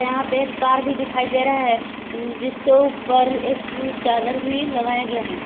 यहां पे एक कार भी दिखाई दे रहा है जिसके ऊपर एक उ चादर भी लगाया है।